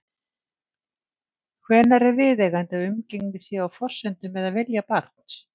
Hvenær er viðeigandi að umgengni sé á forsendum eða vilja barns?